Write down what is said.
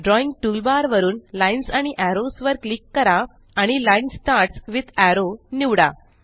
drawing toolbar वरूनLines आणि arrows वर क्लिक करा आणि लाईन स्टार्ट्स विथ एरो निवडा